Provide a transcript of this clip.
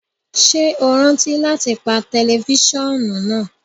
Ṣe o rántí lati pa tẹlifisiọnu naa!?